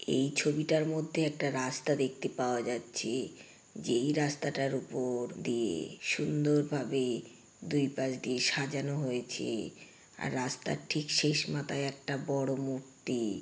এই ছবিটার মধ্যে একটা রাস্তা দেখতে পাওয়া যাচ্ছে যেই রাস্তাটার উপর-- দিয়ে সুন্দরভাবে দুইপাশ দিয়ে সাজানো হয়েছে আর রাস্তার ঠিক শেষ মাথায় একটা বড় মূর্তি--